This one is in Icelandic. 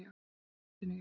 Í loftinu, já.